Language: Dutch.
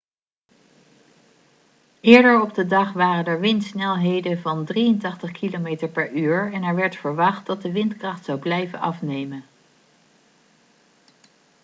eerder op de dag waren er windsnelheden van 83 km/u en er werd verwacht dat de windkracht zou blijven afnemen